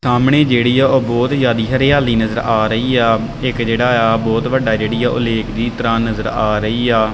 ਸਾਮਣੇ ਜਿਹੜੀ ਆ ਉਹ ਬਹੁਤ ਜਿਆਦੀ ਹਰਿਆਲੀ ਨਜ਼ਰ ਆ ਰਹੀ ਆ ਇੱਕ ਜਿਹੜਾ ਆ ਬਹੁਤ ਵੱਡਾ ਜਿਹੜੀ ਆ ਉਹ ਲੇਕ ਦੀ ਤਰ੍ਹਾਂ ਨਜ਼ਰ ਆ ਰਹੀ ਆ।